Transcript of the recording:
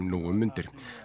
nú um mundir